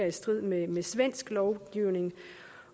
i strid med med svensk lovgivning